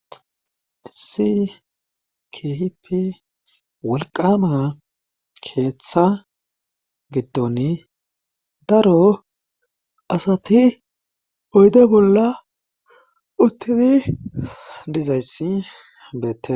Issi kehipe wolqama keeththa giddon daro asati oyde bolla uttidi dizayssi beettes.